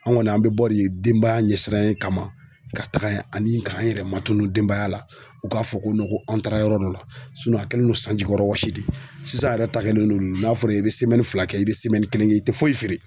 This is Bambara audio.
An ŋɔni an be bɔ de denbaya ɲɛ siranyɛ kama ka taga ya ani k'an yɛrɛ matunu denbaya la, u k'a fɔ ko ko an taara yɔrɔ dɔ la a kɛlen don sanjikɔrɔ wɔsi de ye. Sisan yɛrɛ ta kɛlen de don n'a fɔra i be fila kɛ i be kelen kɛ i te foyi feere.